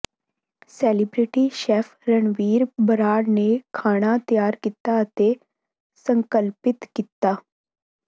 celebrity chef Ranveer Brar ਨੇ ਖਾਣਾ ਤਿਆਰ ਕੀਤਾ ਅਤੇ ਸੰਕਲਪਿਤ ਕੀਤਾ